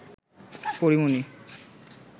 পরী মণি